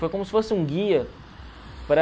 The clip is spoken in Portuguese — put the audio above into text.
Foi como se fosse um guia para...